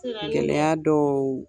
gɛlɛya dɔw.